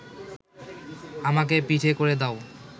আমাকে পিঠে করে দাও।’